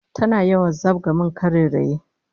Tana yawan zabga min karairayi